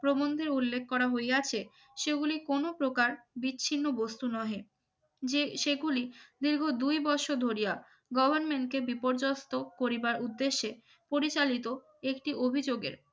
প্রবন্ধে উল্লেখ করা হইয়াছে সেগুলি কোন প্রকার বিচ্ছিন্ন বস্তু নহে যে দীর্ঘ দুই বছর ধরিয়া government কে বিপর্যস্ত করিবার উদ্দেশ্যে পরিচালিত একটি অভিযোগের